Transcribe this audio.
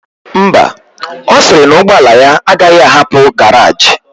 Ḿbà, osiri na ụgbọla ya agaghi ahapu garage.